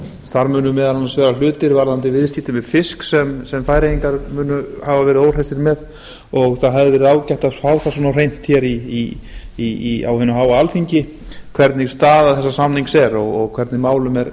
þar munu meðal annars vera hlutir varðandi viðskipti með fisk sem færeyingar munu hafa verið óhressir með og það hefði verið ágætt að fá það svona á hreint hér á hinu háa alþingi hvernig staða þessa samnings er og hvernig málum er